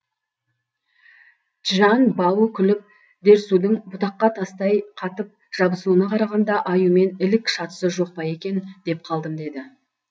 чжан бао күліп дерсудың бұтаққа тастай қатып жабысуына қарағанда аюмен ілік шатысы жоқ па екен деп қалдым деді